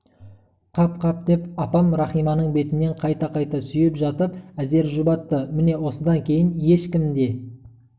қап қап деп апам рахиманың бетінен қайта-қайта сүйіп жатып әзер жұбатты міне осыдан кейін ешкім де